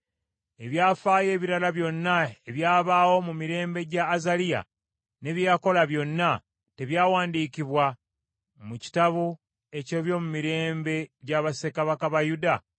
Ebyafaayo ebirala byonna ebyabaawo mu mirembe gya Azaliya, ne bye yakola byonna, tebyawandiikibwa mu kitabo eky’ebyomumirembe gya bassekabaka ba Yuda?